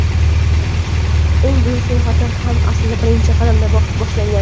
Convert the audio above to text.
Eng buyuk sayohatlar ham aslida birinchi qadamdan boshlangan.